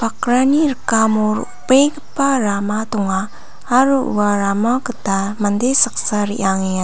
bakrani rikamo ro·begipa rama donga aro ua rama gita mande saksa re·angenga.